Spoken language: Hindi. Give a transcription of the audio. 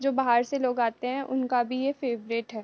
जो बाहर से लोग आते है उनका भी ये फेवरेट है।